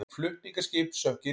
Flutningaskip sökk í Rín